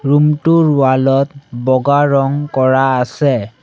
Room টোৰ wall ত বগা ৰঙ কৰা আছে।